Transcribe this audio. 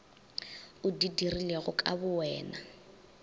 o di dirilego ka bowena